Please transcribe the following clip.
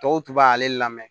Tɔw tun b'ale lamɛn